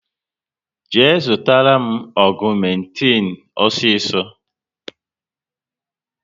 Jee zụtara m agumetin osiso